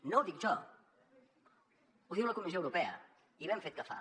no ho dic jo ho diu la comissió europea i ben fet que fa